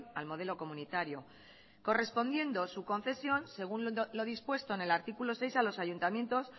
al modelo comunitario correspondiendo su concesión según lo dispuesto en el artículo seis a los ayuntamientos